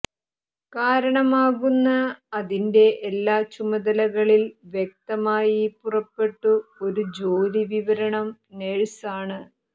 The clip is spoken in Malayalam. കാരണമാകുന്ന അതിന്റെ എല്ലാ ചുമതലകളിൽ വ്യക്തമായി പുറപ്പെട്ടു ഒരു ജോലി വിവരണം നഴ്സ് ആണ്